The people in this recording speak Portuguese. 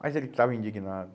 Mas ele estava indignado.